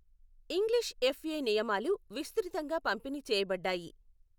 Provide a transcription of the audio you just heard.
English FA నియమాలు విస్తృతంగా పంపిణీ చేయబడ్డాయి.